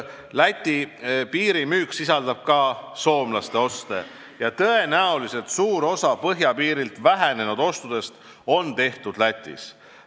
Läti piiril toimuv müük sisaldab ka soomlaste oste ja tõenäoliselt suur osa põhjapiiril vähenenud ostudest on tehtud Lätis.